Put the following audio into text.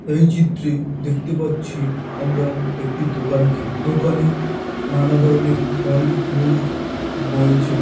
এই চিত্রে দেখতে পাচ্ছি আমরা একটি দোকানকে দোকানে নানা ধরনের ফল মূল রয়েছে।